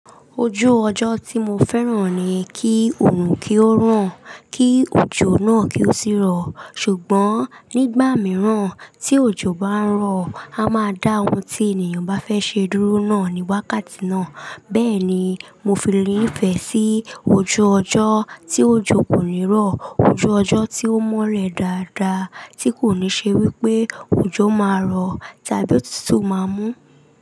Ojú ọjọ́ tí mo fẹ́ràn ni kí òorùn kí ó ràn, kí òjò náà kí ó sì rọ̀. Ṣùgbọ́n nígbà mìíràn tí òjò bá ń rọ̀, a máa dá ohun tí ènìyàn bá fẹ́ ṣe dúró náà ní wákàtí náà. Bẹ́ẹ̀ ni, mo fi nifẹe sí ojú ọjọ́ tí òjò kò ní rọ̀, ojú ọjọ́ tí ó mọ́ le dáadáa tí kò ní ṣe wípé òjò máa rọ̀ tàbí òtútù máa mú.